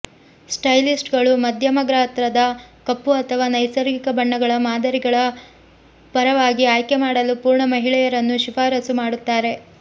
ಸ್ಟೈಲಿಸ್ಟ್ಗಳು ಮಧ್ಯಮ ಗಾತ್ರದ ಕಪ್ಪು ಅಥವಾ ನೈಸರ್ಗಿಕ ಬಣ್ಣಗಳ ಮಾದರಿಗಳ ಪರವಾಗಿ ಆಯ್ಕೆ ಮಾಡಲು ಪೂರ್ಣ ಮಹಿಳೆಯರನ್ನು ಶಿಫಾರಸು ಮಾಡುತ್ತಾರೆ